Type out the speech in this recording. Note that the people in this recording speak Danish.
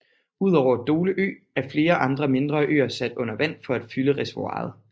Udover Dole Ø er flere andre mindre øer sat under vand for at fylde reservoiret